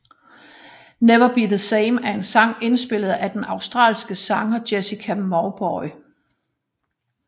Never Be the Same er en sang indspillet af den australske sanger Jessica Mauboy